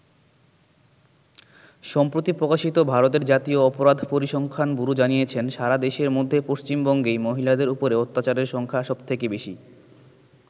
সম্প্রতি প্রকাশিত ভারতের জাতীয় অপরাধ পরিসংখ্যান ব্যুরো জানিয়েছে সারা দেশের মধ্যে পশ্চিমবঙ্গেই মহিলাদের ওপরে অত্যাচারের সংখ্যা সবথেকে বেশী।